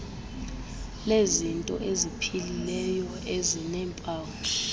lezinto eziphilileyo ezineempawu